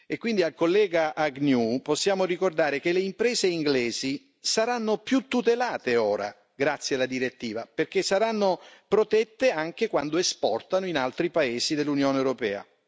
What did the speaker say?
Quindi al collega Agnew possiamo ricordare che le imprese inglesi saranno più tutelate ora, grazie alla direttiva, perché saranno protette anche quando esportano in altri paesi dell'Unione europea.